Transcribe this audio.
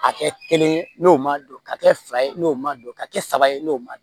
A kɛ kelen ye n'o ma don ka kɛ fila ye n'o ma don ka kɛ saba ye n'o ma